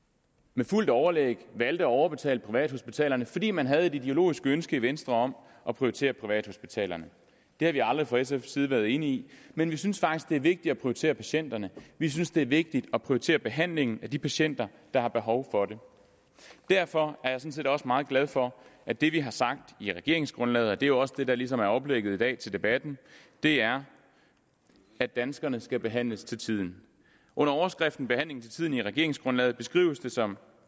med fuldt overlæg valgte at overbetale privathospitalerne fordi man havde et ideologisk ønske i venstre om at prioritere privathospitalerne det har vi aldrig fra sfs side været enige i men vi synes faktisk at det er vigtigt at prioritere patienterne vi synes det er vigtigt at prioritere behandlingen af de patienter der har behov for det derfor er jeg sådan set også meget glad for at det vi har sagt i regeringsgrundlaget og det er jo også det der ligesom er oplægget i dag til debatten er at danskerne skal behandles til tiden under overskriften behandling til tiden i regeringsgrundlaget beskrives det som